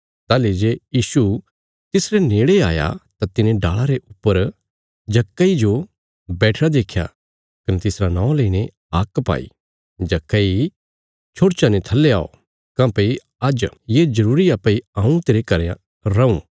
ताहली जे यीशु तिसरे नेड़े आया तां तिने डाल़ा रे ऊपर जक्कईये जो बैठिरा देख्या कने तिसरा नौं लेईने हाक पाई जक्कई छोड़चा ने थल्ले औ काँह्भई आज्ज ये जरूरी आ भई हऊँ तेरे घरें रऊँ